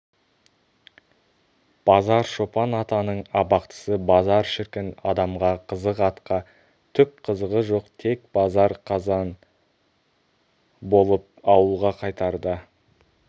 базаршопан-атаның абақтысы базар шіркін адамға қызық атқа түк қызығы жоқ тек базар қазан болып ауылға қайтарда